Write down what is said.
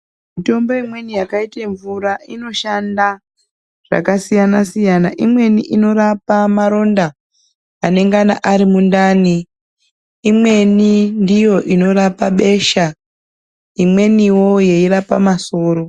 Mitombo imweni yakaite mvura inoshanda zvakasiyana siyana imweni inorape maronda anengana ari mundani, imweni ndiyo inorapa besha imweniwo yeirapa masoro.